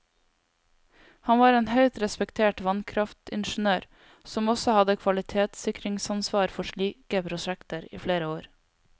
Han var en høyt respektert vannkraftingeniør, som også hadde kvalitetssikringsansvar for slike prosjekter i flere år.